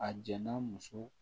A jɛnna muso